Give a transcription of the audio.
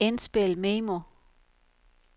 indspil memo